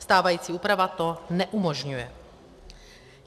Stávající úprava to neumožňuje.